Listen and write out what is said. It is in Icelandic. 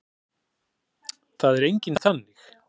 Það er enginn þannig.